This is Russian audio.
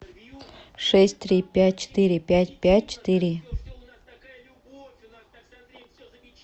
шесть три пять четыре пять пять четыре